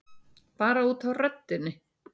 Bara út af röddinni.